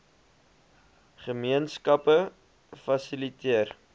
gemeen skappe fasiliteer